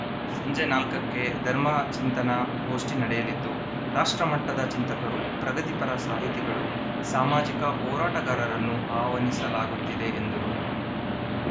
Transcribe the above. ಸಂಜೆ ನಾಲ್ಕಕ್ಕೆ ಧರ್ಮಚಿಂತನ ಗೋಷ್ಠಿ ನಡೆಯಲಿದ್ದು ರಾಷ್ಟ್ರಮಟ್ಟದ ಚಿಂತಕರು ಪ್ರಗತಿಪರ ಸಾಹಿತಿಗಳು ಸಾಮಾಜಿಕ ಹೋರಾಟಗಾರರನ್ನು ಆಹ್ವಾನಿಸಲಾಗುತ್ತಿದೆ ಎಂದರು